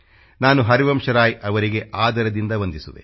ನಾನು ಹರಿವಂಶ್ ರಾಯ ಅವರಿಗೆ ಆದರದಿಂದ ವಂದಿಸುವೆ